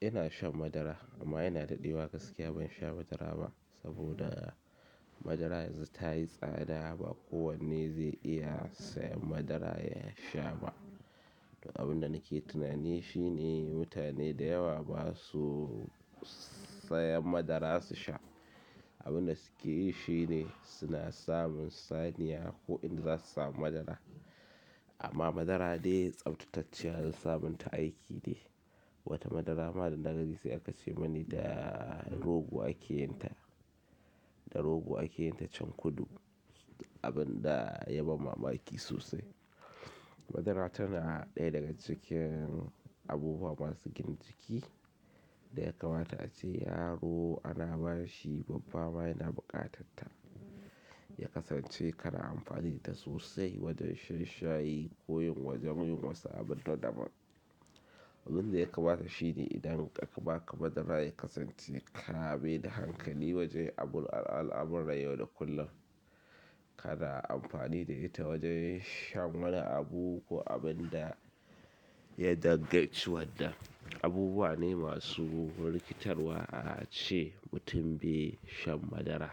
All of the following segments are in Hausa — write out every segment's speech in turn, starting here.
Ina shan madara amma ina daɗewa gaskiya ban sha madara ba saboda madara yanzu tayi tsada ba kowane zai iya sayan madara yasha ba. Abunda nake tunani shine mutane da yawa basu sayan madara su sha. Abunda suke yi shine suna samun saniya ko in za su samu madara. Amma madara dai tsabtacacciyar samun ta aiki ne. Wata madara ma dana gani sai aka ce mani da rogo ake yin ta, da rogo ake yin ta can kudu abinda yaban mamaki sosai. Madara tana ɗaya daga cikin abubuwa masu gina jiki da ya kamata ace yaro ana ba shi babba ma yana buƙatanta. Ya kasance kana amfani da ita sosai wajen shan shayi ko yin wajen wasu abin nadaban. Abunda ya kamata shine idan akaba ka madara ya kasance kamai da hankali wajen abun al'amuran yau da kullum. Kana amfani da ita wajen shan wani abu ko abinda ya dangaci wannan. Abubuwa ne masu rikitarwa a ce mutum bai shan madara.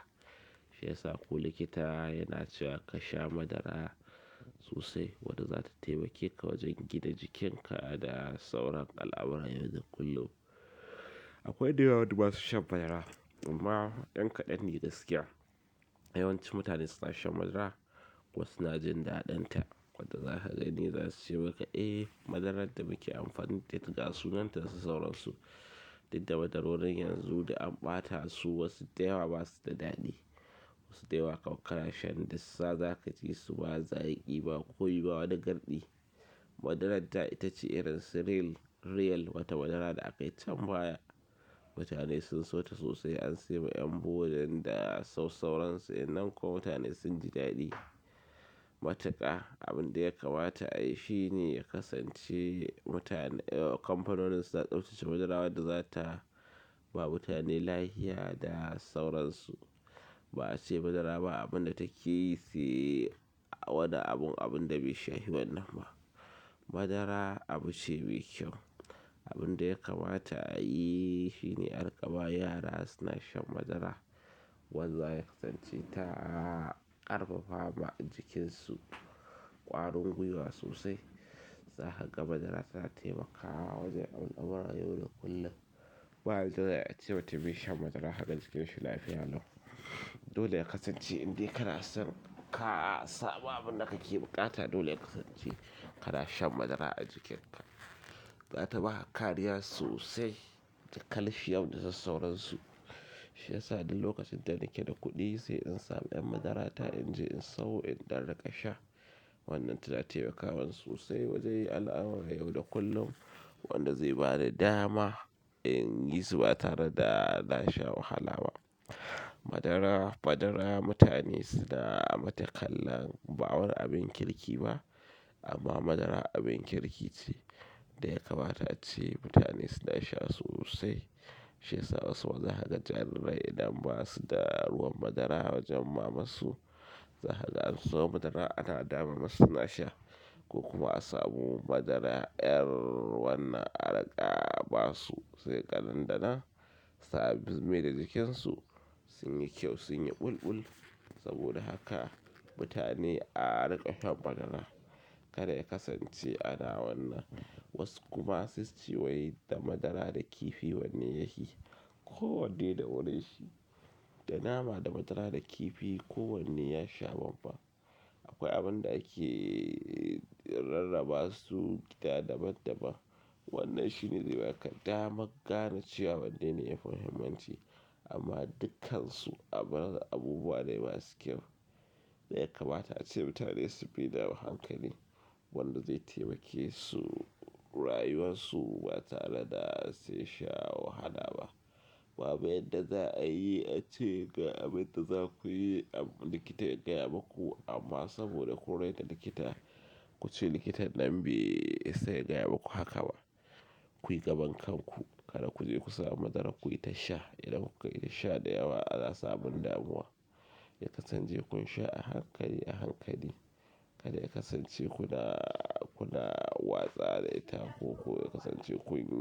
Shi ya sa ko likita yana cewa ka sha madara sosai wanda zata taimake ka wajen gina jikinka da sauran al'amuran yau da kullum. Akwai da yawa wanda basu shan madara amma ƴan kaɗan ne gaskiya. Yawanci mutane suna shan madara ko suna jin daɗanta. Wadda za ka gani za su ce maka, "Eh, madarar da muke amfani da ita ga sunan ta da sauransu." Inda madarorin yanzu da an ɓata su wasu da yawa basu da daɗi. Wasu da yawa kam kana shan dassa za ka ji su ba zaƙi ba komi ba wani garɗi. Madarar da ita ce irin cereal real wata madara da aka yi cambaya. Mutane sun so ta sosai an saiwa ƴan boarding da sauransu inanko mutane sun ji daɗi. Matuƙa abunda ya kamata a yi shi ne ya kasance mutane-- kanfanonin su na tsaftsace madara wadda zata ba mutane lahiya da sauransu. Ba a ce madara ba abunda take yi sai a wani abun, abinda baisha hi wannan ma. Madara abu ce mai kyau. Abunda ya kamata a yi shi ne arin ƙaba yara suna shan madara wanda ya kasance ta ƙarfafa ma jikinsu ƙwarin gwiwa sosai. Za ka ga madara tana taimakawa wajen al'amuran yau da kullum. Ba yadda za'ai a ce mutum bai shan madara kaga jikinsshi lafiya lau. Dole ya kasance in dai kana son ka samu abunda kake buƙata dole ya kasance kana shan madara a jikinka. Za ta ba kariya sosai da calcium da sauransu. Shi ya sa duk lokacin da nake da kuɗi sai in samu ƴan madara ta in je in sau in ɗan riƙa sha. Wannan tana taimakawa sosai wajen al'amuran yau da kullum wanda zai ba ni dama in yi su ba tare da na sha wahala ba. Madara, madara mutane suna mata kallon ba wani abin kirki ba amma madara abin kirki ce. Da ya kamata ace mutane suna sha sosai. Shi ya sa wasu wa za ka ga jarirai idan basu da ruwan madara wajen mama su, za ka ga an siyo madara ana dama masu suna sha. Ko kuma a samu madara ƴar wannan a riƙa ba su sai kaga nan da nan sabis me da jikinsu sun yi kyau, sun yi bulbul. Saboda haka mutane a riƙa shan madara. Kada ya kasance ana wannan was kuma sai suce wai da madara da kifi wanne ya hi ko wanne da wuri shi. Da nama da madara da kifi ko wanne ya sha babban. Akwai abunda ake rarraba su da daban-daban. Wannan shine zai baka daman gane cewa wanne ne ya fi muhimmanci amma dukkansu abun abubuwa ne masu kyau. Da ya kamata ace mutane su bi da hankali wanda zai taimake su rayuwarsu ba tare da sun sha wahala ba. Babu yadda za a yi ace ga abinda za ku yi likita ya gaya maku amma saboda kun raina likita, ku ce likitan nan bai isa yagaya maku haka ba. Ku yi gaban kanku kada ku je ku samu madara ku yi ta sha. Idan kuka yi ta sha da yawa ana samun damuwa. Ya kasance kun sha a hankali, a hankali. Kada ya kasance kuna, kuna wasa da ita ko ko ya kasance kun yi.